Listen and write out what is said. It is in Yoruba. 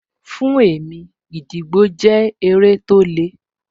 Fún mi, gídígbò jẹ́ eré tó le